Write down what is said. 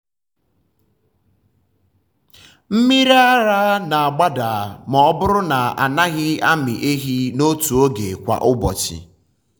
mmiri ara na-agbada ma ọ bụrụ na a naghị amị ehi n’otu oge kwa ụbọchị.